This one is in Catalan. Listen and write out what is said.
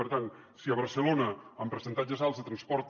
per tant si a barcelona amb percentatges alts de transport